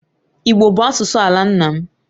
Igbo bụ asụsụ ala nna m